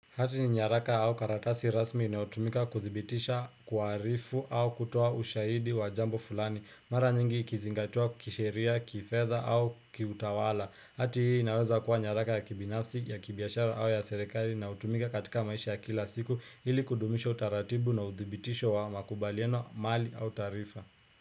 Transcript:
Hati ni nyaraka au karatasi rasmi inayotumika kuthibitisha kuarifu au kutoa ushahidi wa jambo fulani Mara nyingi ikizingatua kisheria, kifedha au kiutawala Hati hii inaweza kuwa nyaraka ya kibinafsi, ya kibiashara au ya serikali inayotumika katika maisha ya kila siku ili kudumisha utaratibu na uthibitisho wa makubaliano mali au taarifa.